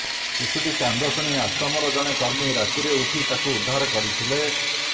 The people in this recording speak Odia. ଶିଶୁଟି କାନ୍ଦ ଶୁଣି ଆଶ୍ରମର ଜଣେ କର୍ମୀ ରାତିରେ ଉଠି ତାକୁ ଉଦ୍ଧାର କରିଥିଲେ